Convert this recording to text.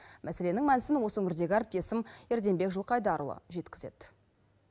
мәселенің мәнісін осы өңірдегі әріптесім ерденбек жылқайдарұлы жеткізеді